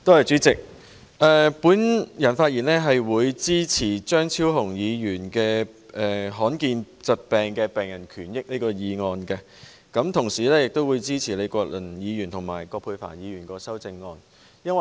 主席，我發言支持張超雄議員"立法保障罕見疾病的病人權益"的議案，亦支持李國麟議員和葛珮帆議員的修正案。